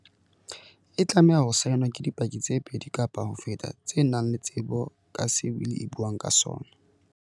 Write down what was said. E tlameha ho saenwa ke di paki tse pedi kapa ho feta tse nang le tsebo ka se wili e buang ka sona.